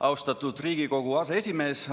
Austatud Riigikogu aseesimees!